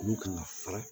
Olu kan ka fara